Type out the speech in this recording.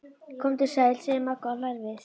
Komdu sæl, segir Magga og hlær við.